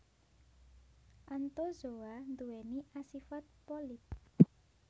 Anthozoa nduwèni asifat polip